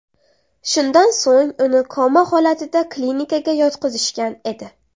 Shundan so‘ng uni koma holatida klinikaga yotqizishgan edi.